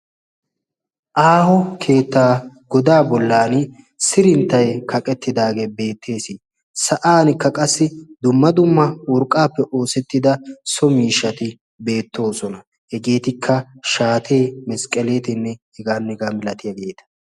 Aaho keettaa godaa bollan sirinttay kaqettidaagee beettees. sa'ankka qassi dumma dumma urqqaappe oosettida so miishshati beettoosona. hegeetikka shaatee misqqeleetinne hegan negaa milatiyaageeta.